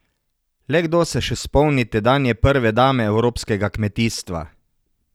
Le kdo se še spomni tedanje prve dame evropskega kmetijstva?